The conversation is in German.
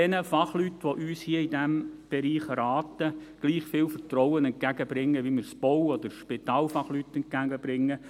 Bringen wir den Fachleuten, die uns in diesem Bereich beraten, gleich viel Vertrauen entgegen wie wir es Bau- oder Spitalfachleuten entgegenbringen.